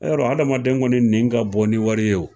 yɔrɔ adamaden kɔni nɛn ka bon ni wari ye o